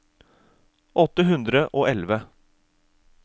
åtte hundre og elleve